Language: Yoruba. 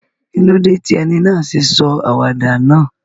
Kílódé ti eni náà sé sọ àwàdà náà?